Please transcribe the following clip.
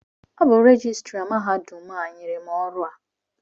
Ọ bụ rejistra mahadum a nyere m ọrụ a.